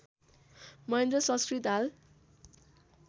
महेन्द्र संस्कृत हाल